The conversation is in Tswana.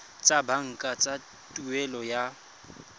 tsa banka tsa tuelo ya